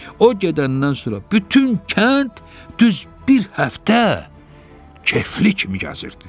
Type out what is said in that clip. O gedəndən sonra bütün kənd düz bir həftə kefli kimi gəzirdi.